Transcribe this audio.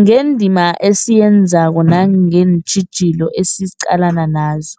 ngendima esiyenzako nangeentjhijilo esiqalene nazo.